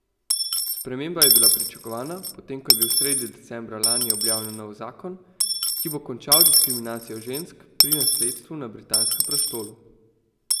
Sprememba je bila pričakovana, potem ko je bil sredi decembra lani objavljen nov zakon, ki bo končal diskriminacijo žensk pri nasledstvu na britanskem prestolu.